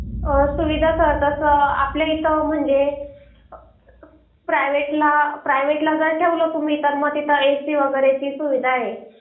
सुविधा तसं करतात आपल्या इथं म्हणजे प्रायव्हेट ला प्रायव्हेट ला जर ठेवला तुम्ही तर मग तिथं एसि वगैरेची सुविधा आहे